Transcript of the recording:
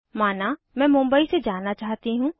माना मैं मुंबई से जाना चाहती हूँ